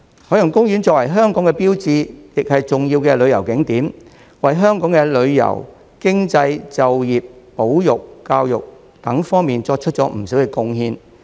海洋公園作為香港的標誌，亦是重要的旅遊景點，為香港的旅遊、經濟、就業、保育、教育等方面作出不少貢獻。